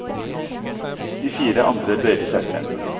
De fire andre bøyde seg frem.